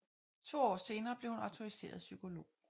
To år senere blev hun autoriseret psykolog